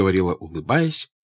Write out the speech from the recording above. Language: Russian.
говорила улыбаясь